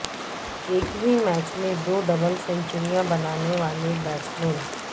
ایک ہی میچ میں دو ڈبل سینچریاں بنانے والے بیٹسمین